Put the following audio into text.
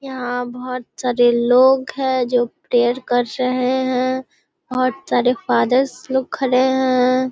यहाँ बहुत सारे लोग हैं जो प्रेयर कर रहे हैं बहुत सारे फादर्स लोग खड़े हैं।